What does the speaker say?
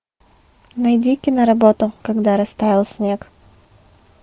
найди киноработу когда растаял снег